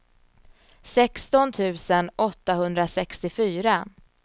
sexton tusen åttahundrasextiofyra